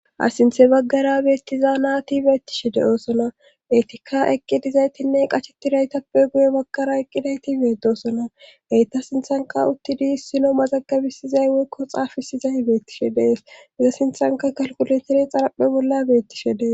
hasinthe baggara beettiza naati beettishe de7oosona eetikka eqqidizaytinne qacheti daytappe guye bakara eqqidayti beetosona heyta sinthanka uttidi issino mazagabisizay wekko xaafisizay beettishe dees iza sinthanka kalkulentere xarapphe bolla beettishe dees